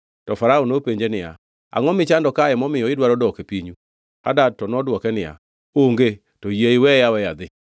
To Farao nopenje niya, “Angʼo michando kae momiyo idwaro dok e pinyu?” Hadad to nodwoke niya, “Onge, to yie iweya aweya adhi!”